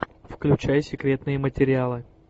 включай секретные материалы